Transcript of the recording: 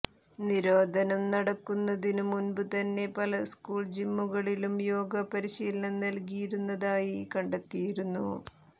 നിരോധനം നടക്കുന്നതിനു മുമ്പുതന്നെ പല സ്കൂൾ ജിമ്മുകളിലും യോഗ പരിശീലനം നൽകിയിരുന്നതായി കണ്ടെത്തിയിരുന്നു